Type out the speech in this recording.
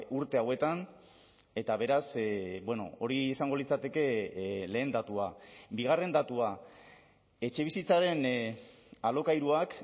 urte hauetan eta beraz hori izango litzateke lehen datua bigarren datua etxebizitzaren alokairuak